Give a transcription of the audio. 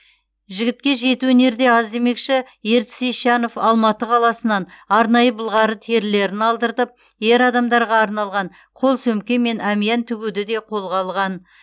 жігітке жеті өнер де аз демекші ертіс ещанов алматы қаласынан арнайы былғары терілерін алдыртып ер адамдарға арналған қол сөмке мен әмиян тігуді де қолға алған